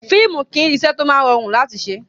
Fíìmù kìí ṣe iṣẹ́ tó máa rọrùn láti ṣe.